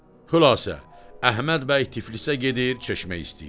Xülasə, Əhməd bəy Tiflisə gedir, çeşmək istəyirlər.